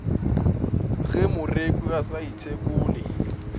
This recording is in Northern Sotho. ge moreku a sa ithekole